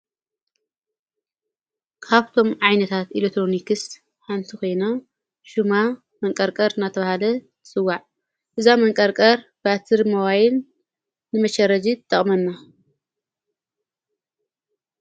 ካብቶም ዓይነታት ኤሌትሮንክስ ሓንቲ ኮይና ሹማ መንቀርቀር ናተብሃለ ትፅዋዕ እዛ መንቀርቀር ባትርን ሞባይል ን ንመቸረጂ ይጠቕመና::